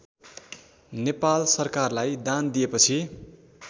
नेपाल सरकारलाई दान दिएपछि